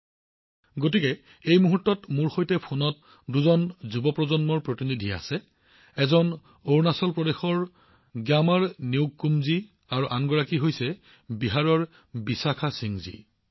সেইকাৰণে দুজন যুৱক এই মুহূৰ্তত মোৰ সৈতে ফোনত সংযুক্ত হৈ আছে এজন অৰুণাচল প্ৰদেশৰ গ্যামাৰ ন্যুকুমজী আৰু আনজন হৈছে বিহাৰৰ কন্যা বিশাখা সিংজী